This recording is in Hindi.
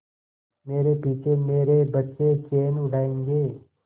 मेरे पीछे मेरे बच्चे चैन उड़ायेंगे